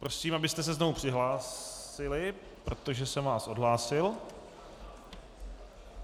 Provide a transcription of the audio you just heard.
Prosím, abyste se znovu přihlásili, protože jsem vás odhlásil.